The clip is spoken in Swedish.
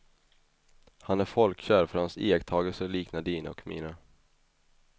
Han är folkkär för hans iakttagelser liknar dina och mina.